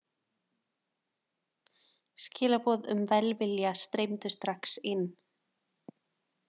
Skilaboð um velvilja streymdu strax inn.